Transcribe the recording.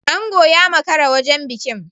Ango ya makara wajen bikin.